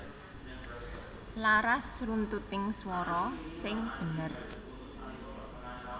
Laras runtuting swara sing bener